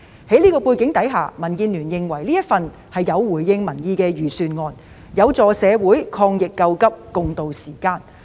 在這個背景下，民建聯認為這份財政預算案回應了民意，有助社會抗疫救急，共渡時艱。